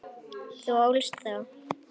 Þú ólst þá.